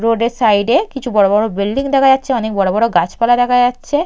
Road এর side এ কিছু বড় বড় বিল্ডিং দেখা যাচ্ছে অনেক বড় বড় গাছপালা দেখা যাচ্ছে।